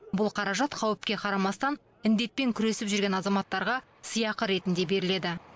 бұл қаражат қауіпке қарамастан індетпен күресіп жүрген азаматтарға сыйақы ретінде беріледі